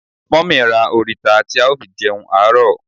Mummy ra orita ti ao fi jeun aro